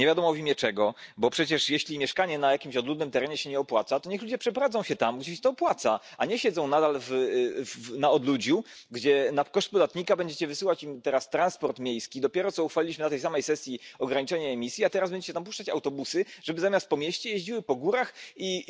Nie wiadomo w imię czego, bo przecież jeśli mieszkanie na jakimś odludnym terenie się nie opłaca, to niech ludzie przeprowadzą się tam, gdzie się to opłaca, a nie siedzą nadal na odludziu, gdzie na koszt podatnika będziecie wysyłać im teraz transport miejski. Dopiero co uchwaliliśmy na tej samej sesji ograniczanie emisji, a teraz będziecie tam puszczać autobusy, żeby zamiast po mieście jeździły po górach